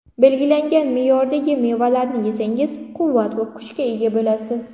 Belgilangan me’yordagi mevalarni yesangiz quvvat va kuchga ega bo‘lasiz.